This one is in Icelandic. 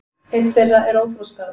einn þeirra er óþroskaður